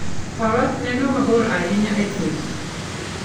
Faras neno mabor ahinya e thim.